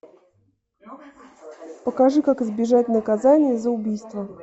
покажи как избежать наказания за убийство